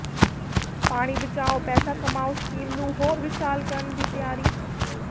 ਪਾਣੀ ਬਚਾਓ ਪੈਸਾ ਕਮਾਂਓ ਸਕੀਮ ਨੂੰ ਹੋਰ ਵਿਸ਼ਾਲ ਕਰਨ ਦੀ ਤਿਆਰੀ